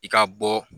I ka bɔ